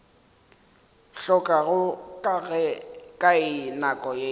hlokago ka ye nako ke